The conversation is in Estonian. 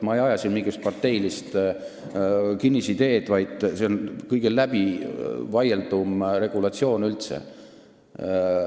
Ma ei aja siin mingisugust parteilist kinnisideed, vaid see on kõige läbivaieldum regulatsioon üldse.